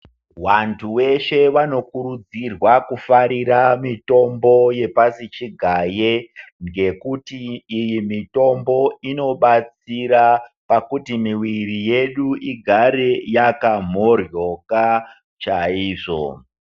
Wantu weshe vanokurudzirwa kufarira mitombo yepashi chigaye ngekuti iyi mitombo inobatsira pakuti miwiri yedu igare yakamhohloka chaizvo.